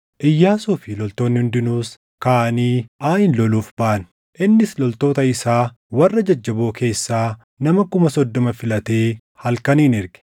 Iyyaasuu fi loltoonni hundinuus kaʼanii Aayin loluuf baʼan. Innis loltoota isaa warra jajjaboo keessaa nama kuma soddoma filatee halkaniin erge;